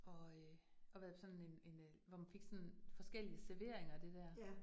Og øh og været på sådan en en øh, hvor man fik sådan forskellige serveringer af det der